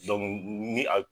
ni a.